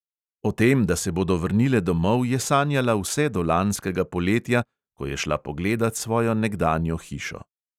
O tem, da se bodo vrnile domov, je sanjala vse do lanskega poletja, ko je šla pogledat svojo nekdanjo hišo.